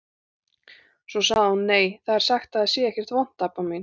Svo sagði hún: Nei, það er sagt að það sé ekkert vont, Abba mín.